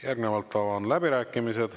Järgnevalt avan läbirääkimised.